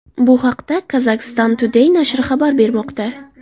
Bu haqda Kazakhstan Today nashri xabar bermoqda .